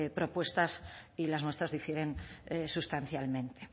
propuestas y las nuestras difieren sustancialmente